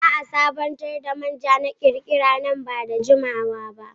Zaa sabantar da manja na kirkira ba da jimawaba.